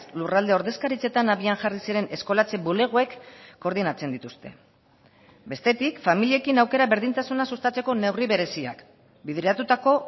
lurralde ordezkaritzetan abian jarri ziren eskolatze bulegoek koordinatzen dituzte bestetik familiekin aukera berdintasuna sustatzeko neurri bereziak bideratutako